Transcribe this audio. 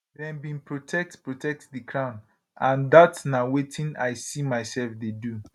dem bin protect protect di crown and dat na wetin i see mysef dey do